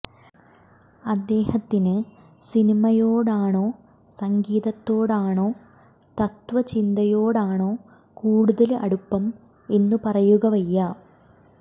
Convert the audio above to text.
അദ്ദേഹത്തിനു സിനിമയോടാണോ സംഗീതത്തോടാണോ തത്വചിന്തയോടാണോ കൂടുതല് അടുപ്പം എന്ന് പറയുക വയ്യ